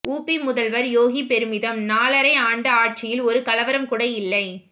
உபி முதல்வர் யோகி பெருமிதம் நாலரை ஆண்டு ஆட்சியில் ஒரு கலவரம் கூட இல்லை